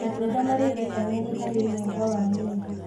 Matunda marĩ vĩtamenĩ harĩ mwega wa mwĩrĩ